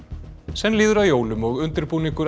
senn líður að jólum og undirbúningur